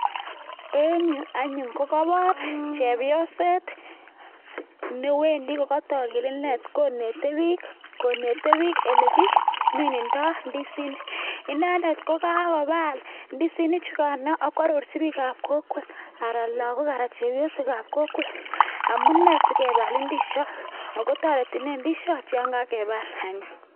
En'g yu anyon ko kebor chepyoset ne wendi ko ka tog ine, ko neti biik ole ki minendoi ndisinik inindet kokakogol ndisinik chugain ago arorchin biik ab kokwet anan lagok ak chepyosok ab kokwet amune sikegol indisiot akotareti ne indisiot ko kagegol